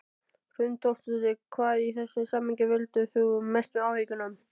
Hrund Þórsdóttir: Hvað í þessu samhengi veldur þér mestum áhyggjum?